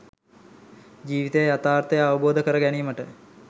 ජීවිත යථාර්ථය අවබෝධ කර ගැනීමට